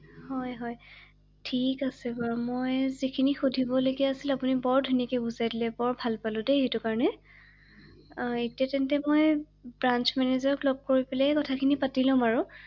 হয় হয় ঠিক আছে বাৰু, মই যিখিনি সুধিবলগীয়া আছিলে আপুনি বৰ ধুনীয়াকে বুজাই দিলে ৷বৰ ভাল পালো দেই সেইটো কাৰণে ৷আ এতিয়া তেন্তে মই ব্ৰান্স মেনেজাৰক লগ কৰি পেলাই কথাখিনি পাতি ল’ম আৰু ৷